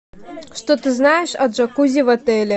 что ты знаешь о джакузи в отеле